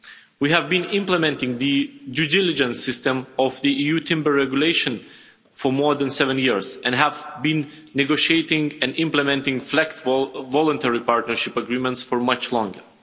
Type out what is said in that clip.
We have been implementing the due diligence system of the EU timber regulation for more than seven years and have been negotiating and implementing flexible, voluntary partnership agreements for much longer.